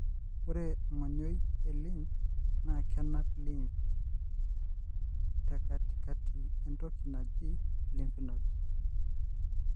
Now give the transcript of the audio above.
ore engonyoi elymph na kenap lymph tekatikati entoki naji lymph nodes.